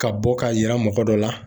Ka bɔ ka yira mɔgɔ dɔ la.